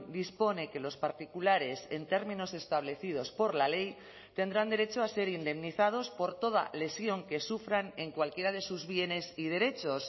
dispone que los particulares en términos establecidos por la ley tendrán derecho a ser indemnizados por toda lesión que sufran en cualquiera de sus bienes y derechos